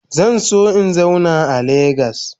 Zan so in zauna a lagos.